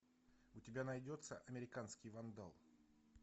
у тебя найдется американский вандал